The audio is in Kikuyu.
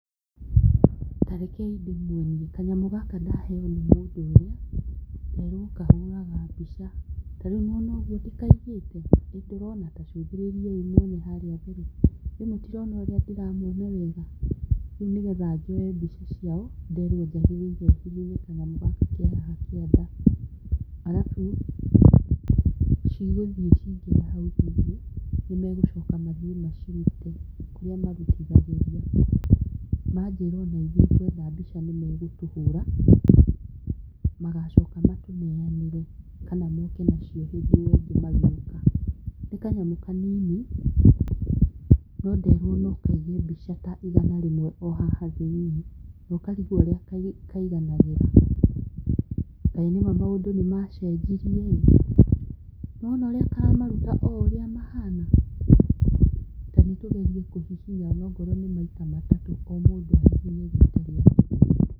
Tarekei ndĩmwonie kanyamũ gaka ndaheo nĩ mũndũ ũrĩa nderwo kahũraga mbica, tarĩu nĩ wona ũguo ndĩkaigĩte ndũrona ta cũthĩrĩriai mwone harĩa mbere ĩĩ mũtirona ũrĩa ndĩramwona wega, rĩu nĩgetha njoe mbica ciao, nderwo njagĩrĩirwo hihinye kanyamũ gaka ke haha kĩanda arabu cigũthiĩ cingĩre hau thĩinĩ nĩ megũcoka mathiĩ macirute kũrĩa marutithagĩria, manjĩra ona ithuĩ twenda mbica nĩmegũtũhũra magacoka matũneanĩre kana moke nacio hĩndĩ ĩyo ĩngĩ magĩũka, nĩ kanyamũ kanini no nderwo no kaige mbica ta igana rĩmwe o haha thĩinĩ nokarigwo ũrĩa kaiganagĩra, kaĩ nĩma maũndũ nĩ machenjerie ĩĩ, nĩ wona ũrĩa karamaruta ũrĩa mahana ta nĩtũgerie kũhihinya ona korwo nĩ maita ta matatũ o mũndũ ahihinye rita rĩake.